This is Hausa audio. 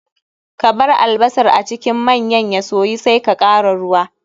Kabar albasar a cikin manyan ya soyu sai ka kara ruwa.